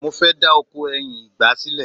mo fẹ da oko ẹyin ọgbà sílẹ